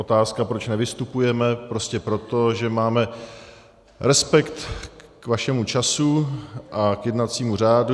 Otázka, proč nevystupujeme - prostě proto, že máme respekt k vašemu času a k jednacímu řádu.